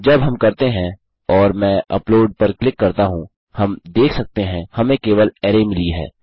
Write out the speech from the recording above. जब हम करते हैं और मैं अपलोड पर क्लिक करता हूँ हम देख सकते हैं हमें केवल अराय मिली है